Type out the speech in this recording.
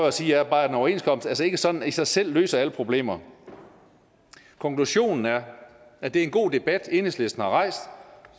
at sige er bare at en overenskomst altså ikke sådan i sig selv løser alle problemer konklusionen er at det er en god debat enhedslisten har rejst